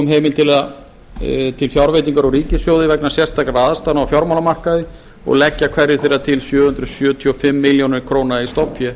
um heimild til fjárveitingar úr ríkissjóði vegna sérstakra aðstæðna á fjármálamarkaði og fleiri og leggja hverju þeirra til sjö hundruð sjötíu og fimm milljónir króna í stofnfé